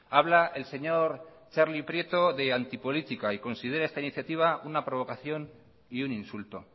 habla el señor txarli prieto de antipolítica y considera esta iniciativa una provocación y un insulto